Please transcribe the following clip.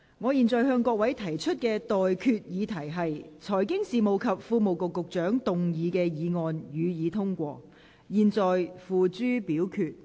我現在向各位提出的待決議題是：財經事務及庫務局局長動議的議案，予以通過。